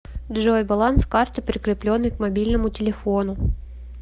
джой баланс карты прикрепленной к мобильному телефону